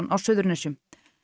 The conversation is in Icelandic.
á Suðurnesjum